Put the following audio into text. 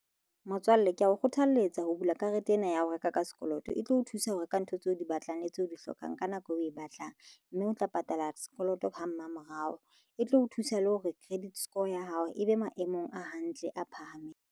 Motswalle ke ya o kgothaletsa ho bula karete ena ya ho reka ka sekoloto e tlo o thusa ho reka ntho tseo o di batlang le tseo di hlokang ka nako eo o e batlang mme o tla patala sekoloto ha mmamorao e tlo o thusa le hore credit score ya hao e be maemong a hantle a phahameng.